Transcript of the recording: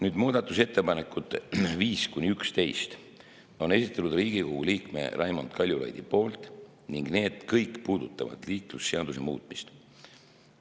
Nüüd, muudatusettepanekud 5–11 on esitanud Riigikogu liige Raimond Kaljulaid ning need kõik puudutavad liiklusseaduse muutmist.